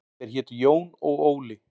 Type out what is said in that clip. Þeir hétu Jón og Óli.